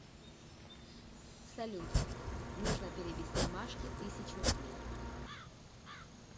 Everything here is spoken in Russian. салют нужно перевести машке тысячу рублей